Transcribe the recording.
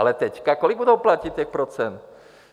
Ale teď, kolik budou platit těch procent?